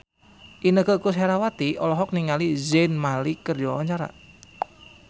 Inneke Koesherawati olohok ningali Zayn Malik keur diwawancara